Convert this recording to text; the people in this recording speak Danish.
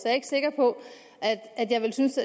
er ikke sikker på at jeg synes